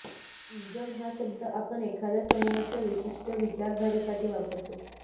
ism हा शब्द आपण एखाद्या समूहाच्या विशिष्ट विचारधारेसाठी वापरतो